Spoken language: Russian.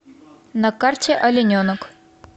на карте олененок